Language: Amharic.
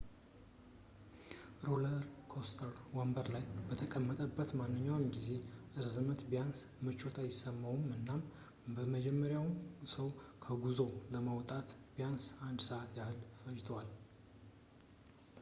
ሮለርኮስተር ወንበር ላይ በተጠመቀበት ማንኛውም የጊዜ ርዝመት ቢያንስ ምቾት አይሰማውም እናም የመጀመሪያውን ሰው ከጉዞው ለማውጣት ቢያንስ አንድ ሰዓት ያህል ፈጅቶዋል